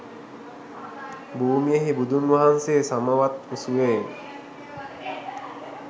භූමියෙහි බුදුන් වහන්සේ සමවත් සුවයෙන්